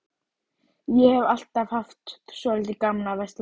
Ég hef alltaf haft svolítið gaman af að versla.